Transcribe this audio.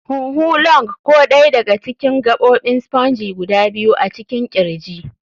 huhu. [lŭng] Ko dai daga cikin gabobin spongy guda biyu a cikin kirji.